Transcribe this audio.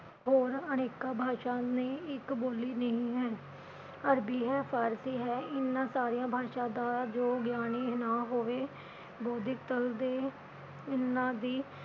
ਹੋਰ ਅਨੇਕਾਂ ਭਾਸ਼ਾਵਾਂ ਨੇ ਇਕ ਬੋਲੀ ਨਹੀਂ ਹੈ ਅਰਬੀ ਹੈ, ਫਾਰਸੀ ਹੈ, ਇਨਾ ਸਾਰੀਆਂ ਭਾਸ਼ਾ ਦਾ ਜੋ ਗਿਆਨੀ ਨਾ ਹੋਵੇ ਬੋਧਕ ਤਲ ਦੇ ਇਹਨਾਂ ਦੀ